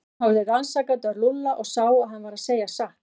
Örn horfði rannsakandi á Lúlla og sá að hann var að segja satt.